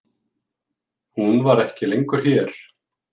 Hún var ekki lengur hér.